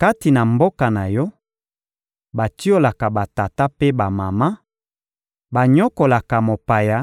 Kati na mboka na yo, batiolaka batata mpe bamama, banyokolaka mopaya,